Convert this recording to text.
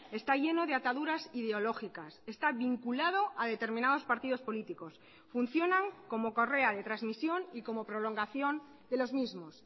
está lleno de ataduras ideológicas está vinculado a determinados partidos políticos funcionan como correa de transmisión y como prolongación de los mismos